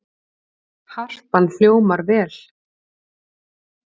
Harpan hljómar vel